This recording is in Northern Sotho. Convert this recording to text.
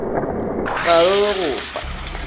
ga re re go fa